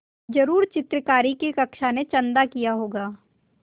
ज़रूर चित्रकारी की कक्षा ने चंदा किया होगा